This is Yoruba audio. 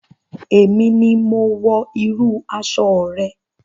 Èmi ni mo wọ irú aṣọ rẹ.